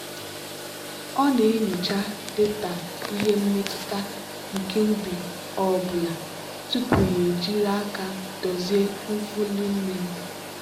ọ na-enyocha data ihe mmetụta nke ubi ọ bụla tupu ya ejiri aka dozie nfuli mmiri.